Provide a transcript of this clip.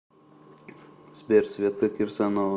сбер светка кирсанова